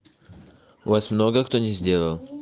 у вас много кто не сделал